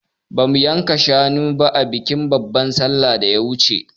Ba mu yanka shanu ba a bikin babar sallan da ta wuce